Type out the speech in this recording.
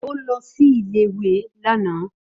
Ó lọ sí ilé ìwé lánàá